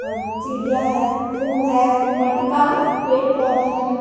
और चिड़िया हैं फूल हैं मटका पेड़-पौधे हैं।